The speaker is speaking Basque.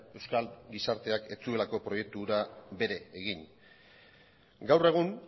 euskal gizarteak ez zuelako proiektu hura bere egin gaur egun